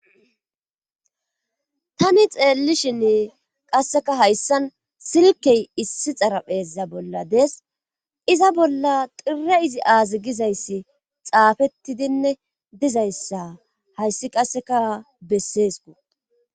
tani xeellishinn qasseka hayssan silkey issi xarapheezza bolla dees iza bolla xire izi aazi gizayssi xaafettidinne dizayssa hayssi qasseka besseesku